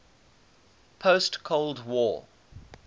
post cold war